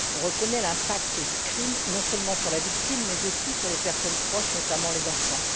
On reconnaît l'impact du crime non seulement sur la victime, mais aussi sur les personnes proches, notamment les enfants.